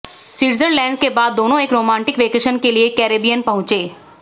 Switzerland के बाद दोनों एक रोमांटिक वैकेशन के लिए कैरेबियन पहुंचे